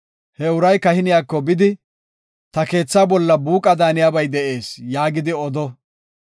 he uray kahiniyako bidi, ‘Ta keetha bolla buuqa daaniyabay de7ees’ yaagidi odo.